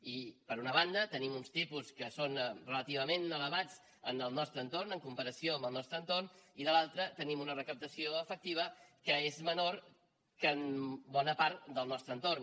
i per una banda tenim uns tipus que són relativament elevats en el nostre entorn en comparació amb el nostre entorn i de l’altra tenim una recaptació efectiva que és menor que en bona part del nostre entorn